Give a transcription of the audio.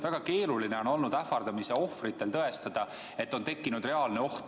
Väga keeruline on olnud ähvardamise ohvritel tõestada, et neile on tekkinud reaalne oht.